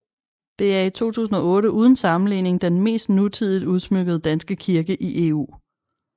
Det er i 2008 uden sammenligning den mest nutidigt udsmykkede danske kirke i EU